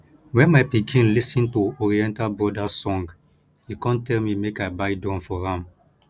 wen my pikin lis ten to oriental brothers song e come tell me make i buy drum for am